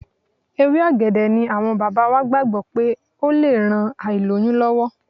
Ewé ọ̀gẹ̀dẹ̀ ni àwọn bàbá wa gbàgbọ́ wípé ó le ran ìlóyún lọ́wọ́.